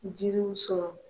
Jiriw sɔrɔ